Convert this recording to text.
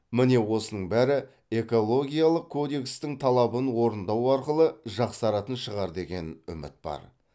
міне осының бәрі экологиялық кодекстің талабын орындау арқылы жақсаратын шығар деген үміт бар